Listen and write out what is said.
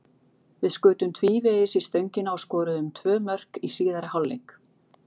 Við skutum tvívegis í stöngina og skoruðum tvö mörk í síðari hálfleik.